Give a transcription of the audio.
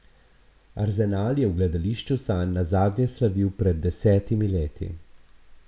Arsenal je v gledališču sanj nazadnje slavil pred desetimi leti.